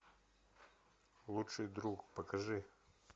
лучший друг покажи